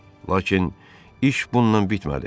Lakin iş bununla bitmədi.